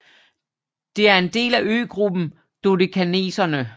Det er en del af øgruppen Dodekaneserne